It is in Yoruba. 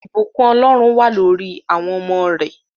Ìbùkún Ọlọ́run wà lórí awọn ọmọ rẹ